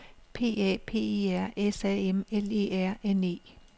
P A P I R S A M L E R N E